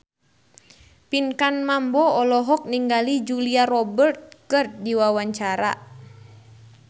Pinkan Mambo olohok ningali Julia Robert keur diwawancara